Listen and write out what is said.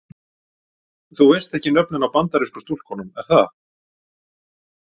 Þú veist ekki nöfnin á Bandarísku stúlkunum er það?